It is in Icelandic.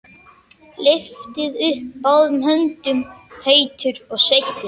Lyfti upp báðum höndum, heitur og sveittur.